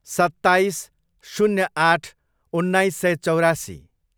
सत्ताइस, शून्य आठ, उन्नाइस सय चौरासी